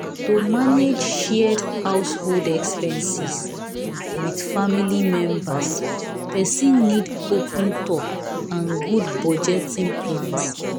to manage shared household expenses with family members person need open talk and good budgeting plans.